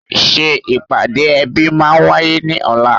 Ṣé ìpàdé ẹbí máa wáyé ní ọ̀la?